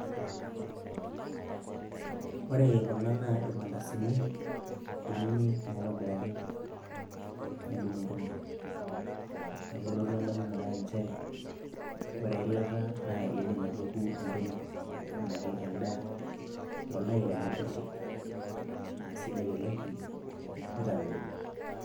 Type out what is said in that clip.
wore kuna naa ilmantasini kunyinyik naitobiraki nedung`idung`i,nelotu endamunoto ai nchere ore eilata naa eidim aitoku entoki enake endaa tooldakikani kutik naa sidai oleng nitamelon.